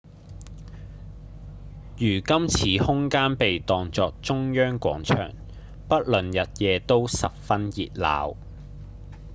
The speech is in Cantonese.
如今此空間被當作中央廣場不論日夜都十分熱鬧